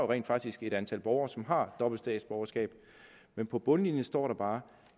rent faktisk et antal borgere som har dobbelt statsborgerskab men på bundlinjen står der bare